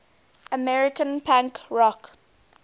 american punk rock